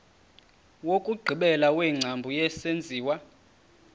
wokugqibela wengcambu yesenziwa